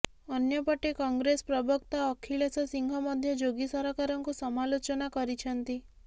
ଅନ୍ୟପଟେ କଂଗ୍ରେସ ପ୍ରବକ୍ତା ଅଖିଳେଶ ସିଂହ ମଧ୍ୟ ଯୋଗୀ ସରକାରଙ୍କୁ ସମାଲୋଚନା କରିଛନ୍ତି